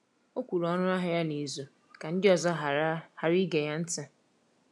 O kwuru ọnụahịa ya n’izu ka ndị ọzọ ghara ghara ige ya ntị.